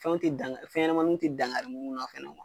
Fɛn tɛ dan fɛnɲɛnamaninw tɛ dangari mun na fana .